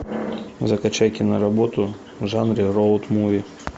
закачай киноработу в жанре роуд муви